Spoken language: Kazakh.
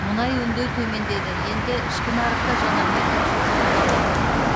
мұнай өңдеу төмендеді енді ішкі нарықта жанармай тапшылығы бола ма